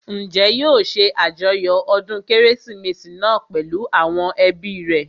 Njẹ́ yóò ṣe àjọyọ̀ ọdún kérésìmesì náà pèlú àwọn ẹbí rẹ̀?